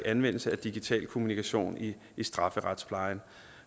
anvendelse af digital kommunikation i strafferetsplejen